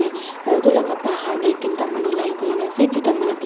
aro etu laka bahar de dinta manu line kurina ase tuita manu black .